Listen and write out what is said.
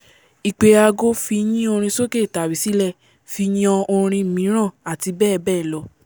ìpè ago fi yín orin sókè tàbí sílè fi yan orin míràn àti bẹ́ẹ̀ bẹ́ẹ̀ lọ